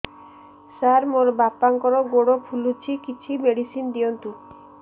ସାର ମୋର ବାପାଙ୍କର ଗୋଡ ଫୁଲୁଛି କିଛି ମେଡିସିନ ଦିଅନ୍ତୁ